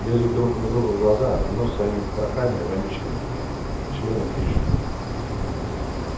лезут друг другу в глаза в нос своими потрохами вонючими членом тычут